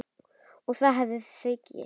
Og þá hafið þið gifst?